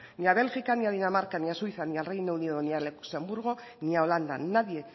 ni a bélgica ni a dinamarca ni a suiza ni a reino unido ni a luxemburgo ni a holanda nadie